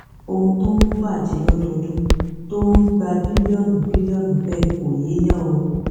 ohun tó ń bàjẹ lọdọọdún tó ń gba bílíọnù bílíọnù bẹẹ kò yéèyàn o